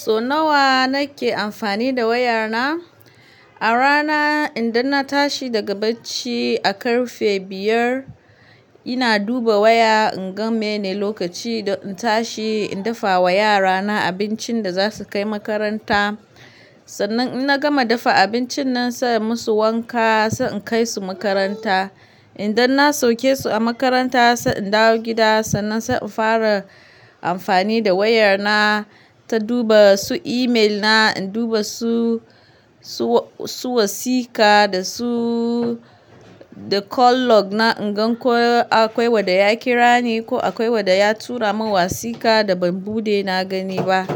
So nawa nake amfani da waya na? A rana idan na tashi daga bacci a ƙarfe biyar, ina duba waya in gan meye ne lokaci don in tashi in dafa wa yara na abincin da za su kai makaranta. Sannan in na gama dafa abincin nan sai in musu wanka sai in kai su makaranta. Idan na sauke su a makaranta sai in dawo gida sannan sai in fara amfani da waya na, ta duba su email na, in duba su, su wasiƙa da su, da call log na in gan ko akwai wanda ya kira ni ko akwai wanda ya tura min wasiƙa da ban buɗe na gani ba.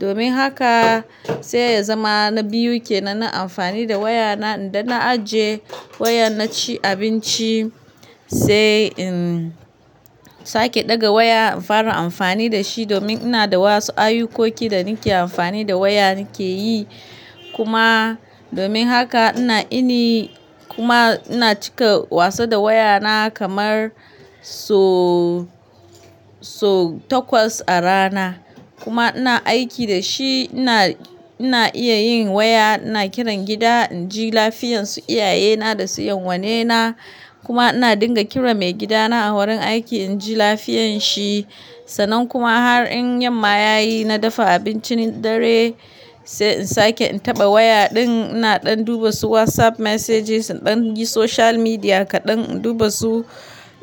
Domin haka sai ya zama na biyu kenan, na amfani da waya na idan na aje wayan na ci abinci sai in sake ɗaga waya in fara amfani da shi domin ina da wasu ayukoki da nake amfani da waya nake yi. Kuma domin haka ina ini kuma ina cika wasa da waya na kamar so, so takwas a rana. Kuma ina aiki da shi ina, ina iya yin waya, ina kiran gida inji lafiyan su iyaye na da su 'yan'uwa ne na. Kuma ina dinga kiran mai gida na a wurin aiki inji lafiyan shi. Sannan kuma har in yamma ya yi na dafa abincin dare sai in sake in taɓa waya din ina ɗan duba su WhatsApp messages, in ɗan in yi social media kaɗan, in duba su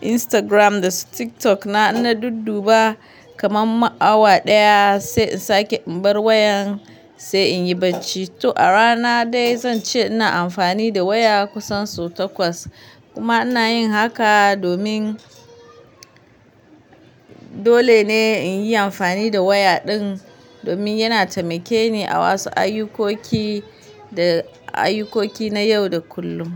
Instagram da su TikTok na. In na dudduba kaman ma awa daya sai in sake in bar wayan sai in yi bacci. To a rana dai zan ce ina amfani da waya kusan so takwas. Kuma ina yin haka domin dole ne in yi amfani da waya din domin yana taimake ni a wasu ayukoki da ayukoki na yau da kullum.